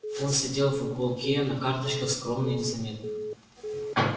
он сидел в уголке на карточках скромно и незаметно